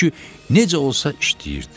Çünki necə olsa işləyirdi.